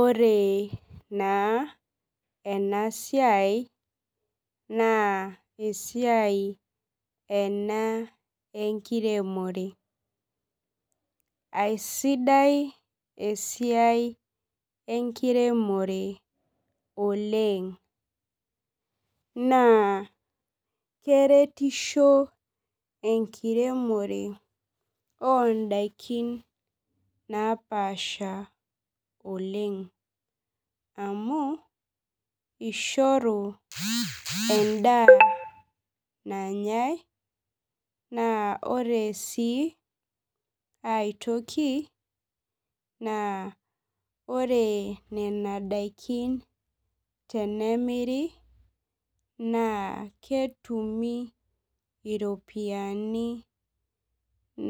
Ore na enasiai na esiai ena enkiremore aisidai esiia enkiremore oleng na keretisho enkiremisho ondakini napaasha oleng amu ishoru endaa nanyae na ore si aitoki na ore nona dakin na tenimir na ketumi iropiyiani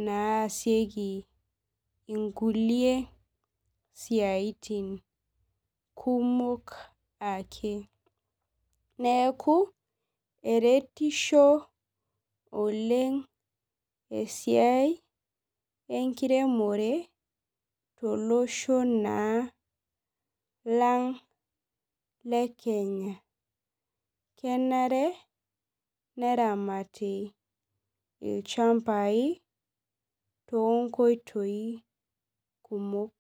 naasieki kulie siatin kumok ake neaku omererisbo oleng esiai enkiremore tolosho na lang lekenya na kenare neramati ilchambai tonkoitoi kumok.